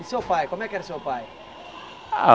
E seu pai, como é que era o seu pai?